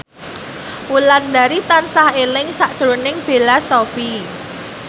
Wulandari tansah eling sakjroning Bella Shofie